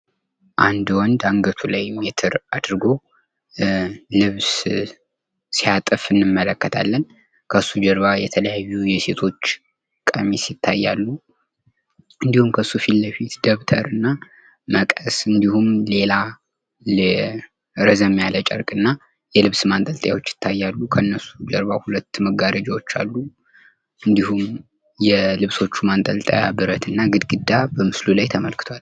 አንድ ወንድ አንገቱ ላይ ሜትር አድርጎ ልብስ ሲያጥፍ እንመለከታለን። ከሱ ጀርባ የተለያዩ የሴቶች ቀሚስ ይታያሉ። እንዲሁም ከሱ ፊትለፊት ደብተር እና መቀስ እንዲሁም ሌላ ረዘም ያለ ጨርቅ እና የልብስ ማንጠልጠያዎች ይታያሉ። ከነሱም ጀርባ ሁለት መጋረጃዎች አሉ። እንዲሁም የልብሶቹ ማንጠልጠያ ብረት እና ግድግዳ በምስሉ ላይ ተመልክትዋል።